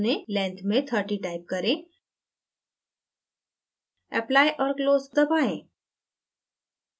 length में 30 type करें apply और close दबाएँ